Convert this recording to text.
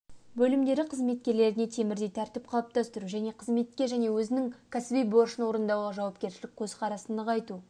бөлімдері қызметкерлеріне темірдей тәртіп қалыптастыру және қызметке және өзінің кәсіби борышын орындауға жауапкершілік көзқарасты нығайту